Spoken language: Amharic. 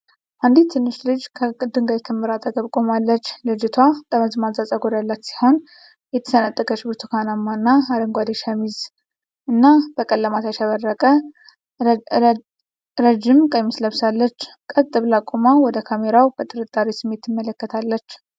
አንዲት ትንሽ ልጅ ከድንጋይ ክምር አጠገብ ቆማለች። ልጅቷ ጠመዝማዛ ፀጉር ያላት ስትሆን፣ የተሰነጠቀች ብርቱካንማ እና አረንጓዴ ሸሚዝ እና በቀለማት ያሸበረቀ ረዥም ቀሚስ ለብሳለች። ቀጥ ብላ ቆማ ወደ ካሜራው በጥርጣሬ ስሜት ትመለከታለች።